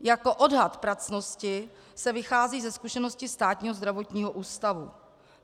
Jako odhad pracnosti se vychází ze zkušenosti Státního zdravotního ústavu.